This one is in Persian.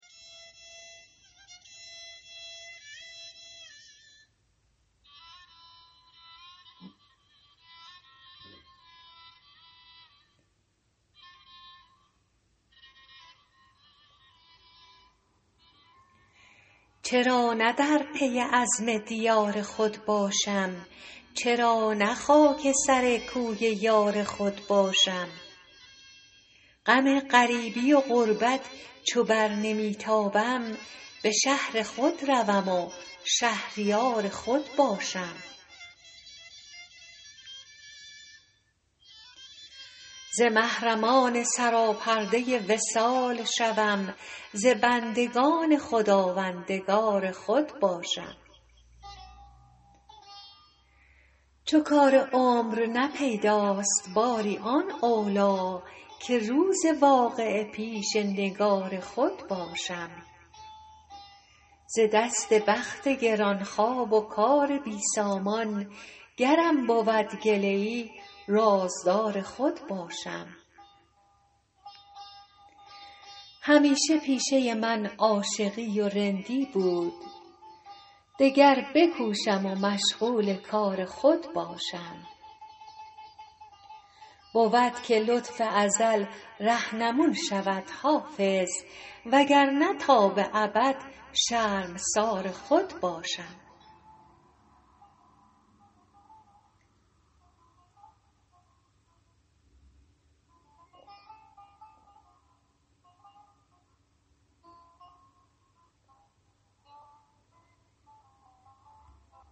چرا نه در پی عزم دیار خود باشم چرا نه خاک سر کوی یار خود باشم غم غریبی و غربت چو بر نمی تابم به شهر خود روم و شهریار خود باشم ز محرمان سراپرده وصال شوم ز بندگان خداوندگار خود باشم چو کار عمر نه پیداست باری آن اولی که روز واقعه پیش نگار خود باشم ز دست بخت گران خواب و کار بی سامان گرم بود گله ای رازدار خود باشم همیشه پیشه من عاشقی و رندی بود دگر بکوشم و مشغول کار خود باشم بود که لطف ازل رهنمون شود حافظ وگرنه تا به ابد شرمسار خود باشم